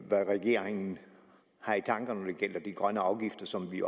hvad regeringen har i tankerne når det gælder de grønne afgifter som vi